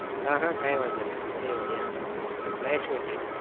અહહ કઈ વાંધો નઈ મળીએ મળીએ nice meet you